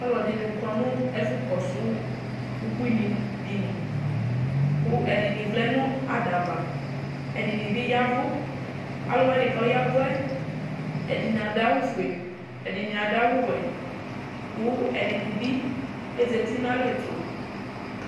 Ɔlɔdini kɔnʋ ɛfʋ kɔsʋ ubuini dini kʋ ɛdini vlɛnʋ adaava ɛdini bi ya ɛvʋ alʋ wani kʋ alʋ wani kʋ ayavʋɛ adʋ awʋfue ɛdini adʋ awʋwɛ kʋ ɛdini bi ezati nʋ alɛtʋ